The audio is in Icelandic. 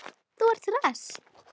Þú ert hress!